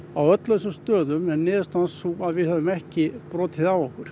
á öllum stöðum er niðurstaðan sú að við höfum ekki brotið af okkur